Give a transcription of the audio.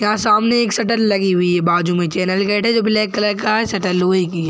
यहाँ सामने एक शटर लगी हुई है बाजू में चैनल गेट है जो ब्लैक कलर का है शटर लोहे की है।